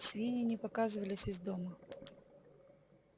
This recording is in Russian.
свиньи не показывались из дома